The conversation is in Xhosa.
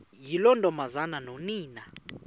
yiloo ntombazana nonina